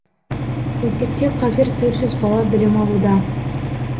мектепте қазір төрт жүз бала білім алуда